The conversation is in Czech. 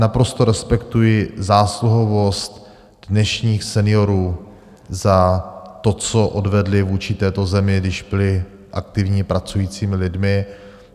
Naprosto respektuji zásluhovost dnešních seniorů za to, co odvedli vůči této zemi, když byli aktivními pracujícími lidmi.